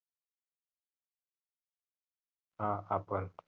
हा आपण